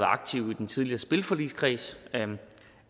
aktive i den tidligere spilforligskreds